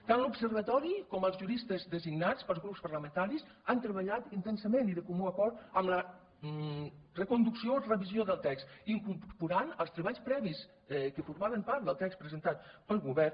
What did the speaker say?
tant l’observatori com els juristes designats pels grups parlamentaris han treballat intensament i de comú acord amb la reconducció i revisió del text incorporant els treballs previs que formaven part del text presentat pel govern